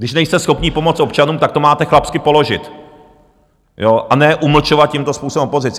Když nejste schopni pomoct občanům, tak to máte chlapsky položit, a ne umlčovat tímto způsobem opozici.